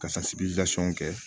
Ka kɛ